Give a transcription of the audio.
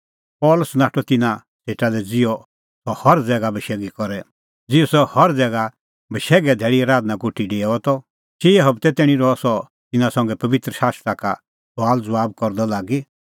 पल़सी नाठअ तिन्नां सेटा लै ज़िहअ सह हर ज़ैगा बशैघे धैल़ी आराधना कोठी डेओआ त चिई हबतै तैणीं रहअ सह तिन्नां संघै पबित्र शास्त्रा का सुआलज़बाब करदअ लागी